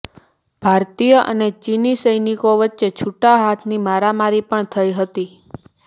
ભારતીય અને ચીની સૈનિકો વચ્ચે છૂટા હાથની મારામારી પણ થઇ હતી